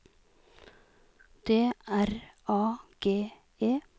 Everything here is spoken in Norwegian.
D R A G E